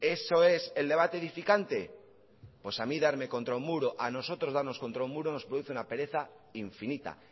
eso es el debate edificante pues a mí darme contra un muro a nosotros darnos contra un muro nos produce una pereza infinita